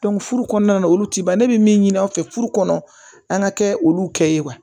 furu kɔnɔna na olu ti ban ne bɛ min ɲini an fɛ furu kɔnɔ an ka kɛ olu kɛ